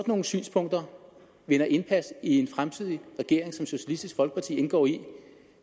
nogle synspunkter vinder indpas i en fremtidig regering som socialistisk folkeparti indgår i